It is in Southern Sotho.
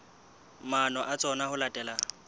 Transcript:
maano a tsona ho latela